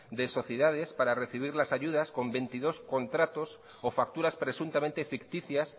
de sociedades para recibir las ayudas con veintidós contratos o facturas presuntamente ficticias